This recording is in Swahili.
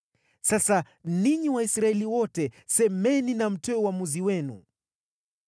Sasa, ninyi Waisraeli wote, semeni na mtoe uamuzi wenu.”